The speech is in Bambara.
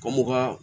Kɔmoka